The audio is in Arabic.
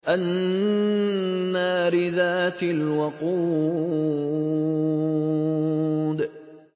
النَّارِ ذَاتِ الْوَقُودِ